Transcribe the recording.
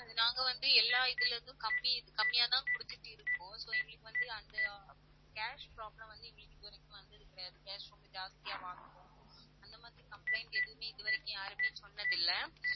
நாங்க வந்து எல்லா இதிலிருந்தும் கம்மி~ கம்மியாதான் கொடுத்துட்டு இருக்கோம். so எங்களுக்கு வந்து அந்த ஆஹ் cash problem வந்து எங்களுக்கு இதுவரைக்கும் வந்தது கிடையாது. cash ரொம்ப ஜாஸ்தியா வாங்குறோம் அந்த மாதிரி complaint எதுவுமே இதுவரைக்கும் யாருமே சொன்னதில்லை